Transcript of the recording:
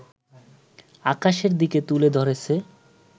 আকাশের দিকে তুলে ধরেছে